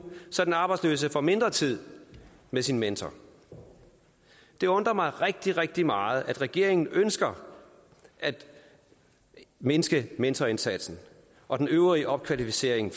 så den arbejdsløse får mindre tid med sin mentor det undrer mig rigtig rigtig meget at regeringen ønsker at mindske mentorindsatsen og den øvrige opkvalificering